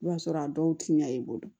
I b'a sɔrɔ a dɔw ti ɲɛ i bolo